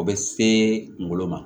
O bɛ se kungolo ma